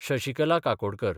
Shashikala Kakodkar